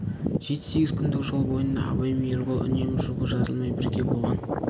жеті-сегіз күндік жол бойында абай мен ербол үнемі жұбы жазылмай бірге болған